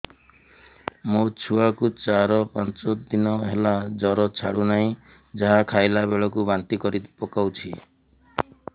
ମୋ ଛୁଆ କୁ ଚାର ପାଞ୍ଚ ଦିନ ହେଲା ଜର ଛାଡୁ ନାହିଁ ଯାହା ଖାଇଲା ବେଳକୁ ବାନ୍ତି କରି ପକଉଛି